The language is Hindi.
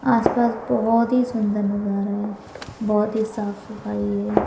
आसपास बहुत ही सुंदर नजारा है बहुत ही साफ सफाई है।